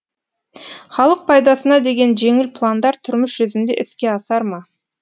халық пайдасына деген жеңіл пландар тұрмыс жүзінде іске асар ма